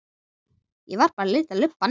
Ég var bara að lita lubbann.